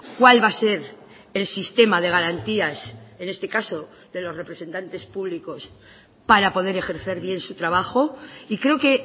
cuál va a ser el sistema de garantías en este caso de los representantes públicos para poder ejercer bien su trabajo y creo que